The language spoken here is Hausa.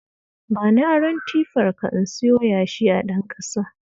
Bani aron tifarka in siyo yashi a Ɗanƙasa